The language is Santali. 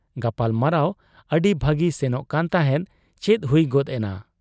ᱜᱟᱯᱟᱞᱢᱟᱨᱟᱣ ᱟᱹᱰᱤ ᱵᱷᱟᱹᱜᱤ ᱥᱮᱱᱚᱜ ᱠᱟᱱ ᱛᱟᱦᱮᱸᱫ ᱾ ᱪᱮᱫ ᱦᱩᱭ ᱜᱚᱫ ᱮᱱᱟ ?